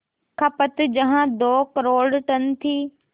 खपत जहां दो करोड़ टन थी